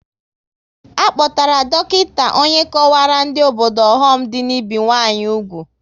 A kpọtara dọkịta onye kọwaara ndị obodo ọghọm dị n'ibi nwanyị úgwù